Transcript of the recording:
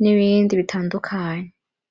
n’ibindi bitandukanye .